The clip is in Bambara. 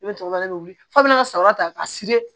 Ne bɛ tɔɔrɔ de weele f'a bɛ n ka sariwa ta ka siri